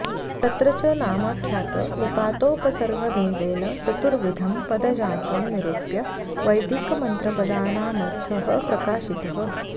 तत्र च नामाख्यातनिपातोपसर्गभेदेन चतुर्विधं पदजातं निरूप्य वैदिकमन्त्रपदानामर्थः प्रकाशितः